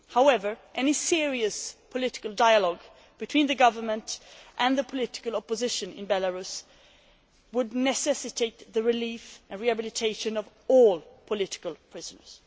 However, any serious political dialogue between the government and the political opposition in Belarus would necessitate the release and rehabilitation of all political prisoners.